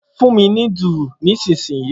Fun mi ni dùrù ni ilsinyii